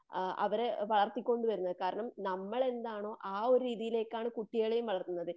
ആ അവരെ വളർത്തിക്കൊണ്ടു വരുന്നത്. കാരണം നമ്മൾ എന്താണോ ആ ഒരു രീതിയിലേക്കാണ് കുട്ടികളേയും വളർത്തുന്നത്.